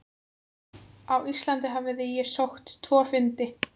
Á Íslandi hafði ég sótt tvo fundi.